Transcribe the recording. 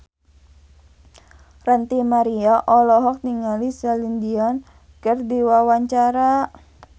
Ranty Maria olohok ningali Celine Dion keur diwawancara